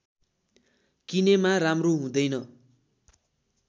किनेमा राम्रो हुँदैन